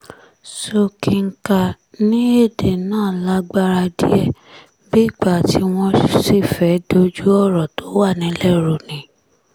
sókínkà ní èdè náà lágbára díẹ̀ bíi ìgbà tí wọ́n sì fẹ́ẹ́ dojú ọ̀rọ̀ tó wà nílẹ̀ rú ni